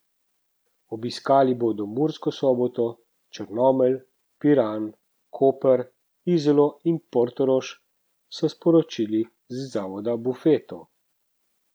Obiskali bodo Mursko Soboto, Črnomelj, Piran, Koper, Izolo in Portorož, so sporočili iz Zavoda Bufeto.